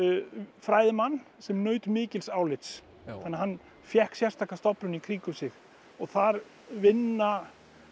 fræðimann sem naut mikils álits þannig að hann fékk sérstaka stofnun í kringum sig þar vinna